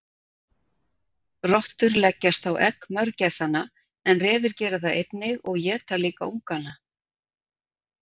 Rottur leggjast á egg mörgæsanna en refir gera það einnig og éta líka ungana.